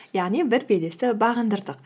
яғни бір белесті бағындырдық